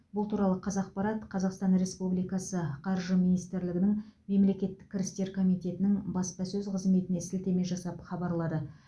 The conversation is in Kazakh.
бұл туралы қазақпарат қазақстан республикасы қаржы министрлігінің мемлекеттік кірістер комитетінің баспасөз қызметіне сілтеме жасап хабарлады